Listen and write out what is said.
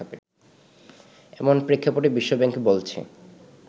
এমন প্রেক্ষাপটে বিশ্বব্যাংক বলছে